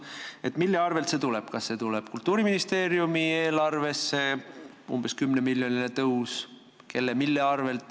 Aga kelle või mille arvelt see umbes 10-miljoniline kasv Kultuuriministeeriumi eelarvesse tuleb?